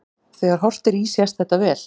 Þegar horft er í sést þetta vel.